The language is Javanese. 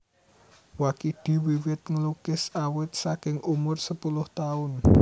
Wakidi wiwit nglukis awit saking umur sepuluh taun